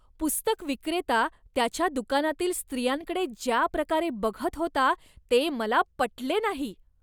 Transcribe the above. पुस्तकविक्रेता त्याच्या दुकानातील स्त्रियांकडे ज्या प्रकारे बघत होता, ते मला पटले नाही.